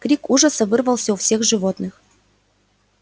крик ужаса вырвался у всех животных